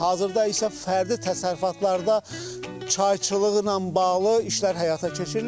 Hazırda isə fərdi təsərrüfatlarda çayçılıqla bağlı işlər həyata keçirilir.